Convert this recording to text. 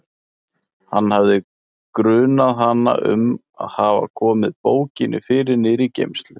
Hann hafði grunað hana um að hafa komið bókinni fyrir niðri í geymslu.